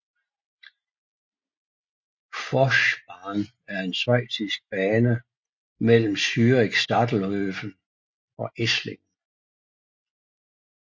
Forchbahn er en schweizisk bane mellem Zürich Stadelhöfen og Esslingen